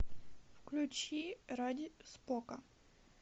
включи ради спока